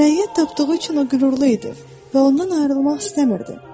Rəiyyət tapdığı üçün o qürurlu idi və ondan ayrılmaq istəmirdi.